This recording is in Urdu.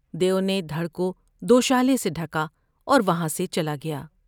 دیو نے دھڑ کو دوشالے سے ڈھکا اور وہاں سے چلا گیا ۔